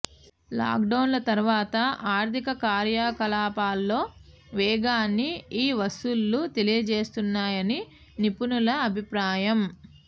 లాక్డౌన్ల తర్వాత ఆర్థిక కార్యకలాపాల్లో వేగాన్ని ఈ వసూళ్లు తెలియజేస్తున్నాయని నిపుణుల అభిప్రాయం